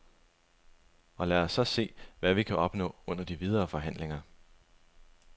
Og lad os så se, hvad vi kan opnå under de videre forhandlinger.